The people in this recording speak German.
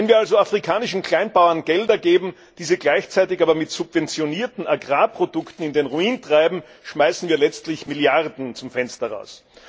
Wenn wir also afrikanischen Kleinbauern Gelder geben, diese gleichzeitig aber mit subventionierten Agrarprodukten in den Ruin treiben, schmeißen wir letztlich Milliarden zum Fenster hinaus.